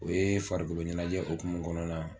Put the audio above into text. O ye farikolo ɲɛnajɛ okumu kɔnɔna na